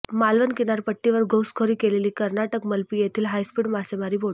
मालवण किनारपट्टीवर घुसखोरी केलेली कर्नाटक मलपी येथील हायस्पीड मासेमारी बोट